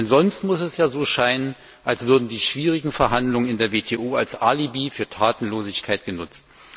Denn sonst muss es ja so scheinen, als würden die schwierigen Verhandlungen in der WTO als Alibi für Tatenlosigkeit genutzt.